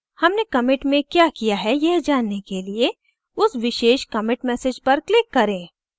हमने commit में क्या किया है यह जानने के लिए उस विशेष commit message पर click करें